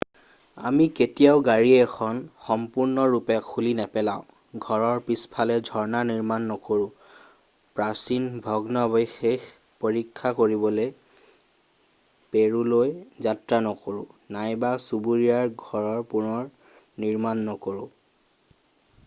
আমি কেতিয়াও গাড়ী এখন সম্পূৰ্ণৰূপে খুলি নেপেলাও ঘৰৰ পিছফালে ঝৰ্ণা নিৰ্মাণ নকৰো প্ৰাচীন ভগ্নাৱশেষ পৰীক্ষা কৰিবলৈ পেৰুলৈ যাত্ৰা নকৰোঁ নাইবা চুবুৰীয়াৰ ঘৰ পুনৰনিৰ্মাণ নকৰো